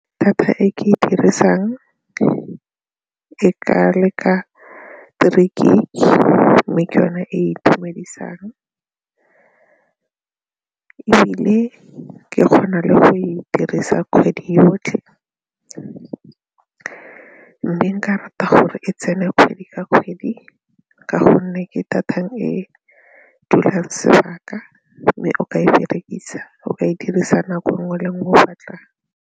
Data e ke e dirisang e e ka leka three gig mme ke yone e e itumedisang ebile ke kgona le go e dirisa kgwedi yotlhe mme nka rata gore e tsene kgwedi ka kgwedi ka gonne ke data e dulang sebaka mme o ka e dirisa nako nngwe le nngwe o batlang.